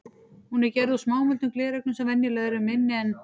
Hún er gerð úr smámuldum glerögnum sem venjulega eru minni en